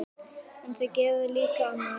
En þau gerðu líka annað.